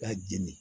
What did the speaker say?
K'a jeni